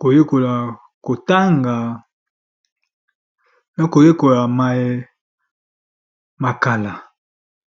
koyekola kotanga pe koyekola maye ya kala.